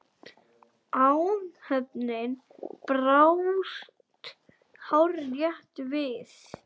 Áhöfnin brást hárrétt við.